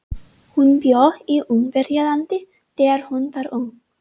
Hún bjó í Ungverjalandi þegar hún var ung.